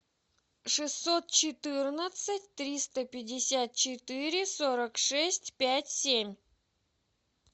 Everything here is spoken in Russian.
шестьсот четырнадцать триста пятьдесят четыре сорок шесть пять семь